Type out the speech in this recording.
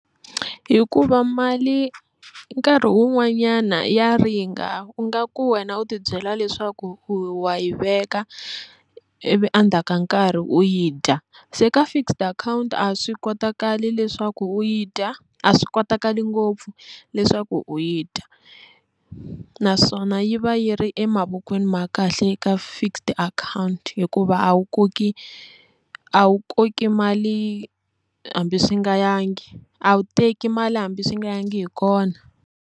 Hikuva mali nkarhi wun'wanyana ya ringa, u nga ku wena u tibyela leswaku wa yi veka ivi endzhaku ka nkarhi u yi dya se ka fixed account a swi kotakali leswaku u yi dya a swi kotakali ngopfu leswaku u yi dya naswona yi va yi ri emavokweni ma kahle eka fixed account hikuva a wu koki a wu koki mali hambi swi nga yangi a wu teki mali hambi swi nga yangi hi kona.